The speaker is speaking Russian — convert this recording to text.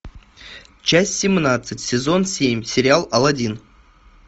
часть семнадцать сезон семь сериал алладин